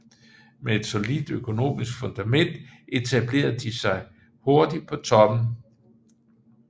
Med et solidt økonomisk fundament etablerede de sig hurtigt på toppen